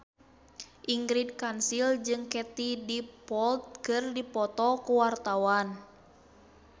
Ingrid Kansil jeung Katie Dippold keur dipoto ku wartawan